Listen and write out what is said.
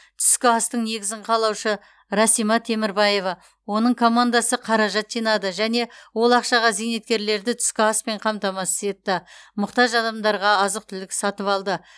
түскі астың негізін қалаушы расима темірбаева оның командасы қаражат жинады және ол ақшаға зейнеткерлерді түскі аспен қамтамасыз етті мұқтаж адамдарға азық түлік сатып алды